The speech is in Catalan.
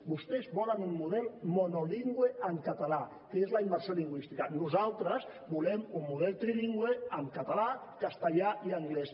vostès volen un model monolingüe en català que és la immersió lingüística nosaltres volem un model trilingüe en català castellà i anglès